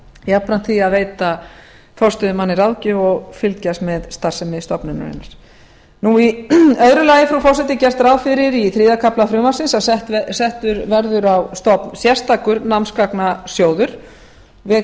jafnframt því að veita forstöðumanni ráðgjöf og fylgjast með starfsemi stofnunarinnar í öðru lagi frú forseti er gert ráð fyrir í þriðja kafla frumvarpsins að settur verði á stofn sérstakur námsgagnasjóður ég vek